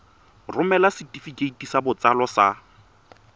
romela setefikeiti sa botsalo sa